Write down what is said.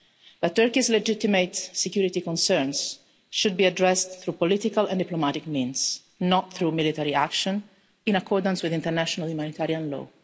But Turkey's legitimate security concerns should be addressed through political and diplomatic means, not through military action, in accordance with international humanitarian law.